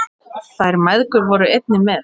Þær mæðgur voru einnig með.